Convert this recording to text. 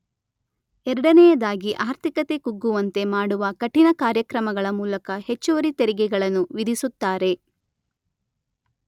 ಎರಡನೆಯದಾಗಿ ಆರ್ಥಿಕತೆ ಕುಗ್ಗುವಂತೆ ಮಾಡುವ ಕಠಿಣ ಕಾರ್ಯಕ್ರಮಗಳ ಮೂಲಕ ಹೆಚ್ಚುವರಿ ತೆರಿಗೆಗಳನ್ನು ವಿಧಿಸುತ್ತಾರೆ.